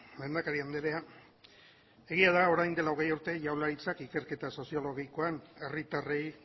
lehendakari andrea egia da orain dela hogei urte jaurlaritzak ikerketa soziologikoan herritarrei